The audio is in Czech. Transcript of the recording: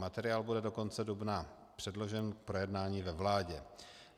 Materiál bude do konce dubna předložen k projednání ve vládě.